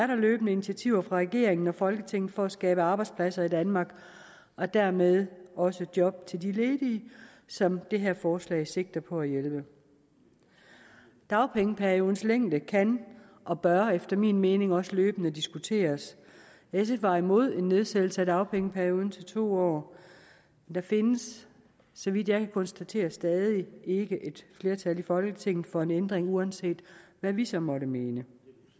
der løbende initiativer fra regeringen og folketinget for at skabe arbejdspladser i danmark og dermed også job til de ledige som det her forslag sigter på at hjælpe dagpengeperiodens længde kan og bør efter min mening også løbende diskuteres sf var imod en nedsættelse af dagpengeperioden til to år der findes så vidt jeg kan konstatere stadig ikke et flertal i folketinget for en ændring uanset hvad vi så måtte mene